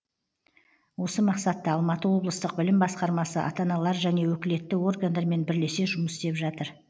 осы мақсатта алматы облыстық білім басқармасы ата аналар және өкілетті органдармен бірлесе жұмыс істеп жатыр